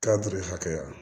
hakɛya